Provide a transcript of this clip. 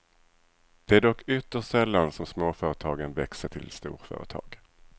Det är dock ytterst sällan som småföretagen växer till storföretag.